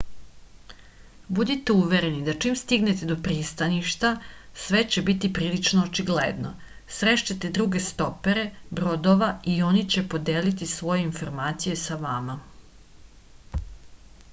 budite uvereni da čim stignete do pristaništa sve će biti prilično očigledno srešćete druge stopere brodova i oni će podeliti svoje informacije sa vama